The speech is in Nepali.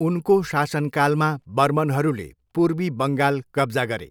उनको शासनकालमा बर्मनहरूले पूर्वी बङ्गाल कब्जा गरे।